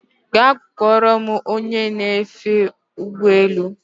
Gaa kpọrọ m ony! e ofe ụgbọ elu